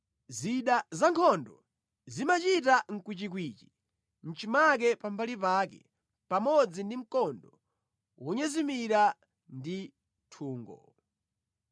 Zida zankhondo zimachita kwichikwichi mʼchimake pambali pake pamodzi ndi mkondo wonyezimira ndi nthungo.